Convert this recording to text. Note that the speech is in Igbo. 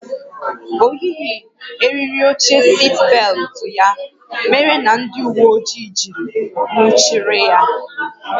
O yighị eriri oche sitbelụtụ ya mere na ndị uwe ojii jiri nwụchiri ya